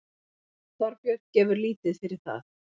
Þorbjörn gefur lítið fyrir það.